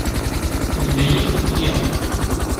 у тебя есть судья